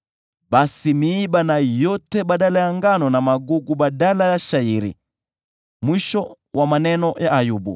basi miiba na iote badala ya ngano, na magugu badala ya shayiri.” Mwisho wa maneno ya Ayubu.